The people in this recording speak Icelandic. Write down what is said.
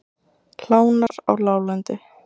Hlánar á láglendi